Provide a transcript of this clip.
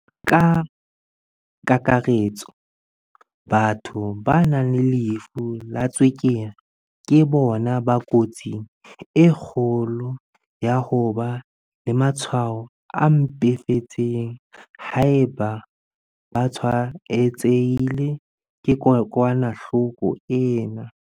Ka kakaretso, batho ba nang le lefu la tswekere ke bona ba kotsing e kgolo ya ho ba le matshwao a mpefetseng haeba ba tshwaetsehile ke kokwanahloko ena.